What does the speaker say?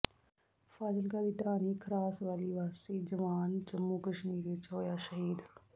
ਫਾਜ਼ਿਲਕਾ ਦੀ ਢਾਣੀ ਖਰਾਸ ਵਾਲੀ ਵਾਸੀ ਜਵਾਨ ਜੰਮੂ ਕਸ਼ਮੀਰ ਵਿਚ ਹੋਇਆ ਸ਼ਹੀਦ